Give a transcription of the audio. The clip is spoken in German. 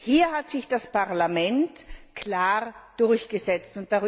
Hier hat sich das Parlament klar durchgesetzt.